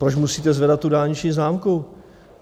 Proč musíte zvedat tu dálniční známku?